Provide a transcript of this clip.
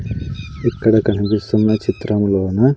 ఇక్కడ కనిపిస్తున్న చిత్రములోన--